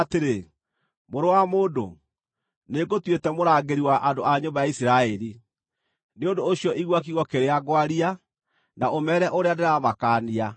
“Mũrũ wa mũndũ, nĩngũtuĩte mũrangĩri wa andũ a nyũmba ya Isiraeli, nĩ ũndũ ũcio igua kiugo kĩrĩa ngwaria, na ũmeere ũrĩa ndĩramakaania.